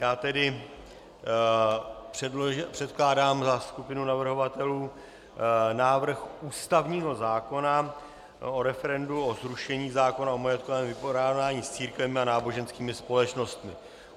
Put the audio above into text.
Já tedy předkládám za skupinu navrhovatelů návrh ústavního zákona o referendu o zrušení zákona o majetkovém vypořádání s církvemi a náboženskými společnostmi.